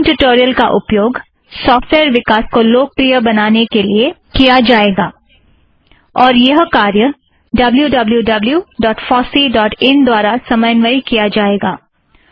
spoken tutorial का उपयोग software विकास को लोकप्रिय बनाने में किया जाएगा और यह कार्य W W W dot FOSSEE dot in wwwfosseeइन द्वारा समन्वय किया जाएगा